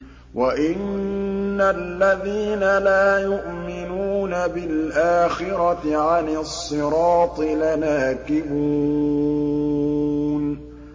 وَإِنَّ الَّذِينَ لَا يُؤْمِنُونَ بِالْآخِرَةِ عَنِ الصِّرَاطِ لَنَاكِبُونَ